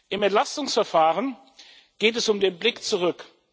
Im Entlastungsverfahren geht es um den Blick zurück.